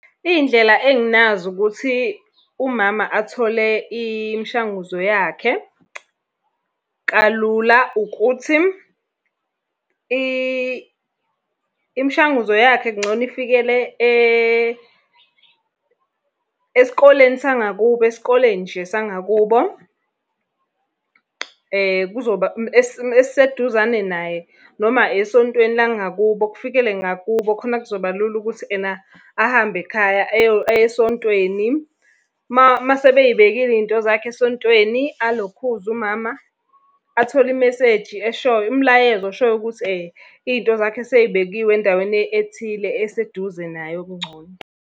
Iy'ndlela enginazo ukuthi umama athole imishanguzo yakhe kalula ukuthi imishanguzo yakhe kungcono ifikele esikoleni sangakubo esikoleni nje sangakubo. Kuzoba esiseduzane naye. Noma esontweni langakubo, kufikele ngakubo khona kuzoba lula ukuthi ena ahambe ekhaya ayesontweni. Uma sebey'bekile iy'nto zakhe esontweni alokhuze umama, athole imeseji eshoyo, umlayezo oshoyo ukuthi iy'nto zakhe sey'bekiwe endaweni ethile eseduze naye okungcono.